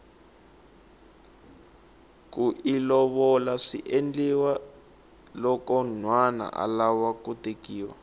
kiu lovola swiendliwa loko nhwana alava ku tekiwa